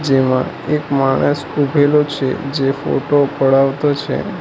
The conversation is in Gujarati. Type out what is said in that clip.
એમાં એક માણસ ઉભેલો છે જે ફોટો પડાવતો છે.